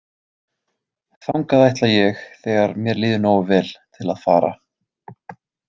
Þangað ætla ég þegar mér líður nógu vel til að fara.